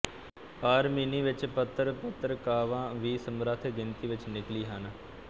ਆਰਮੀਨੀ ਵਿੱਚ ਪੱਤਰ ਪਤਰਿਕਾਵਾਂਵੀ ਸਮਰੱਥ ਗਿਣਤੀ ਵਿੱਚ ਨਿਕਲੀ ਹਨ